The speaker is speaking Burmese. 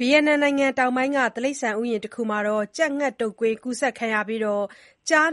ဗီယက်နမ်နိုင်ငံ တောင်ပိုင်းက တိရစ္ဆာန်ဥယျာဥ်တခုမှာ ကြက်ငှက်တုပ်ကွေး ကူးစက်ပြီး ကျား